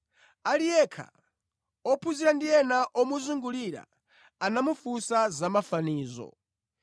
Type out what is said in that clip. Ali yekha, ophunzira ndi ena omuzungulira, anamufunsa za mafanizo.